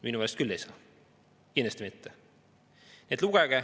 Minu meelest küll ei saa, kindlasti mitte.